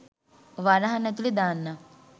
වරහන් ඇතුලේ දාන්නම්.